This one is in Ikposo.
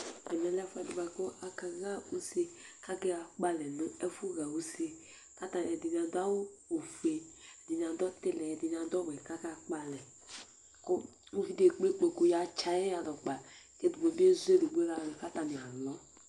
ɛmɛ lɛ ɛfu ɛdi boa kò aka ɣa use k'aka kpɔ alɛ no ɛfu ɣa use k'atani ɛdini adu awu ofue ɛdini adu ɔtili ɛdini adu ɔwɛ k'aka kpɔ alɛ kò uvi di ekple ikpoku ya tsi ayi yalɛ kpa k'ɛdi bi ezu edigbo ladò k'atani alɔ